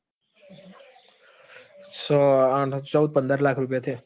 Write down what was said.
છ આ ચૌદ થી પંદર લાખ રૂપિયા થયા.